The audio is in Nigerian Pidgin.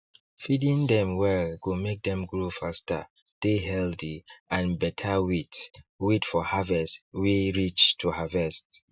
feeding them well go make them grow fasterdey healthy and get better weight weight for harvest wey reach to harvest